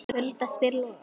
Hulda spyr Loga